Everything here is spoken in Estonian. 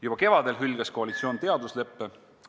Juba kevadel hülgas koalitsioon teadusleppe ...